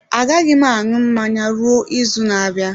Agaghị m aṅụ mmanya ruo izu na-abịa.